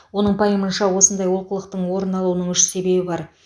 оның пайымынша осындай олқылықтың орын алуының үш себебі бар